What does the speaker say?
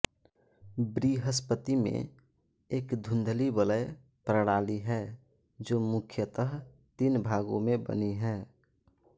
बृहस्पति में एक धुंधली वलय प्रणाली है जो मुख्यतः तीन भागो मे बनी है